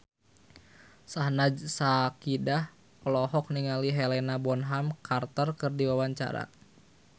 Syahnaz Sadiqah olohok ningali Helena Bonham Carter keur diwawancara